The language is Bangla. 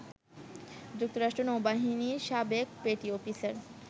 যুক্তরাষ্ট্র নৌবাহিনীর সাবেক পেটি অফিসার